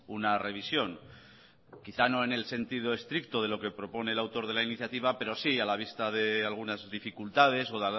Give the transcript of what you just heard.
una revisión quizá no en el sentido estricto de lo que propone el autor de la iniciativa pero sí a la vista de algunas dificultades o